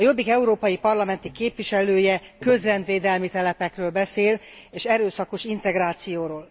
A Jobbik európai parlamenti képviselője közrendvédelmi telepekről beszél és erőszakos integrációról.